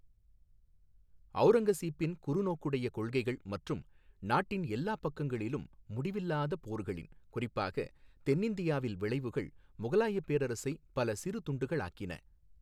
ஓௗரங்கசீப்பின் குறுநோக்குடைய கொள்கைகள் மற்றும் நாட்டின் எல்லா பக்கங்களிலும் முடிவில்லாத போர்களின் குறிப்பாக தென் இந்தியாவில் விளைவுகள் முகலாய பேரரசை பல சிறு துண்டுகளாக்கின.